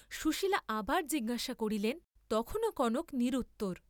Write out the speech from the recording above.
সুশীলা আবার জিজ্ঞাসা করিলেন, তখনও কনক নিরুত্তর।